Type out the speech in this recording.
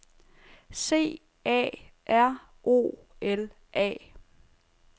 C A R O L A